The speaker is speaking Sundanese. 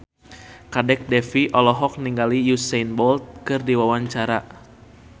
Kadek Devi olohok ningali Usain Bolt keur diwawancara